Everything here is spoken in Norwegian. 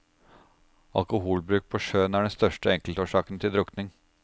Alkoholbruk på sjøen er den største enkeltårsaken til drukning.